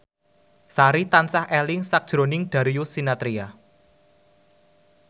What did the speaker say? Sari tansah eling sakjroning Darius Sinathrya